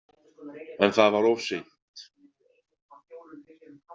En það var of seint.